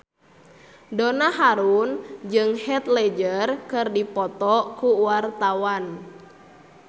Donna Harun jeung Heath Ledger keur dipoto ku wartawan